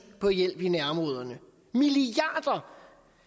på hjælp i nærområderne milliarder